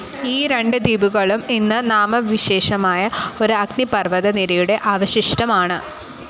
ഈ രണ്ട് ദ്വീപുകളും ഇന്ന് നാമവിശേഷമായ ഒരു അഗ്നിപർവ്വത നിരയുടെ അവശിഷ്ടം ആണ്.